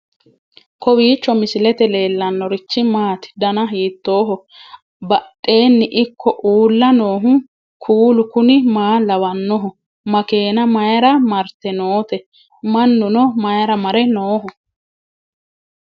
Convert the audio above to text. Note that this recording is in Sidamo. kowiicho misilete leellanorichi maati ? dana hiittooho ?abadhhenni ikko uulla noohu kuulu kuni maa lawannoho? makeenna mayra marte noote mannuno mayra mare nooho